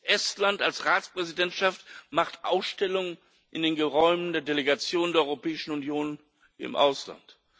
Estland als Ratspräsidentschaft macht Ausstellungen in den Räumen der Delegation der Europäischen Union im Ausland.